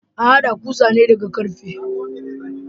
An hada kusa ne daga karfe.